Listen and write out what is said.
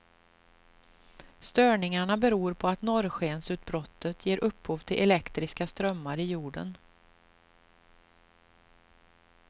Störningarna beror på att norrskensutbrottet ger upphov till elektriska strömmar i jorden.